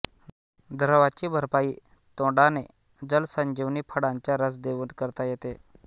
द्रवाची भरपाई तोडाने जलसंजीवनी फळांचा रस देऊन करता येते